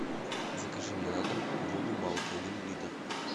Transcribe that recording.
закажи мне на дом воду малки один литр